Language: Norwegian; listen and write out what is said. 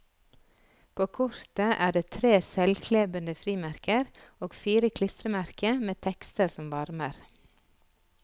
På kortet er det tre selvklebende frimerker og fire klistremerker med tekster som varmer.